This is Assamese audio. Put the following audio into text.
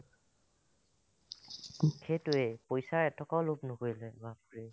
সেইটোয়ে পইচা এটকাও লোভ নকৰিলে বাপৰে